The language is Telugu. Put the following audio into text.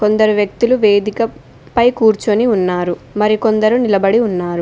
కొందరు వ్యక్తులు వేదిక పై కూర్చుని ఉన్నారు మరి కొందరు నిలబడి ఉన్నారు.